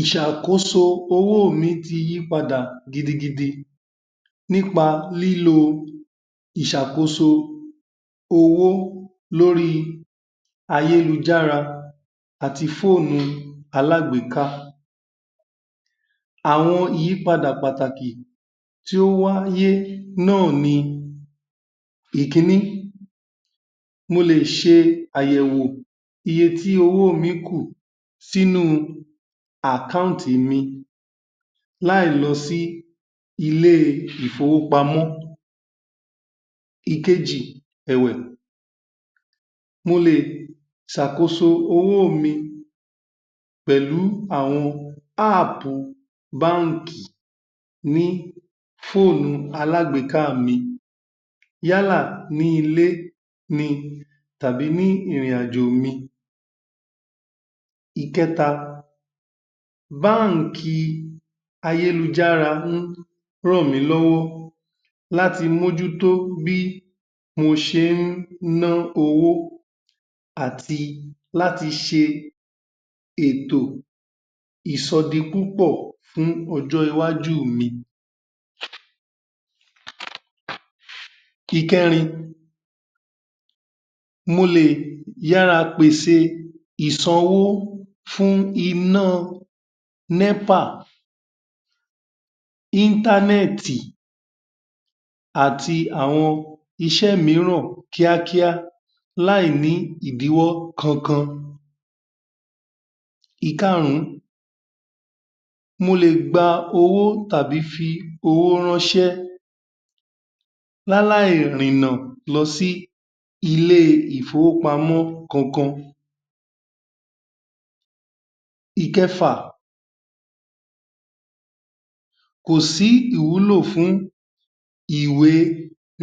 ìsàkóso owó mi ti yí padà gidigidi nípa lílo ìsàkóso owó lóri ayélujára àti fóònù alágbéká àwọn ìyípadà pàtàkì tó wáyé na ́à ni ìkíní mo lè ṣe àbẹ̀wo eye tí owó mi kù tí nú u àkánti mi lá ì lọ sí ilé ìfowópamọ́ ìkejì ẹ́wẹ̀ mo lè sàkóso owò mi pẹ́lú àwọn ápù bánkì ní fóònù alágbéká mi yálà ní́ ilé ni tabí ní ìrìnàjò mi ìkẹ́ta bánkì ì ayélujára um rànmílọ́wọ́ láti mújútó bí mo ṣe ún ná owó àti láti ṣe ètò ìsọ di púpọ̀ fún ọjọ́ iwájú mi um ìkẹ́rin molè yára pèsè ìsanwó fún iná nẹ́pà íntánẹ̀tì àti àwọn iṣẹ́ míràn kíá kíá láì ní ìdíwọ́ kankan ìkarún mo lè gba owó tàbí fi owó ránsé láí láí rìnà lọsí ilé ìfowópamọ́ kankan ìkẹfà kòsí ìwúlò ìwé